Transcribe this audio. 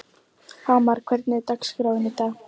Hamar, hvernig er dagskráin í dag?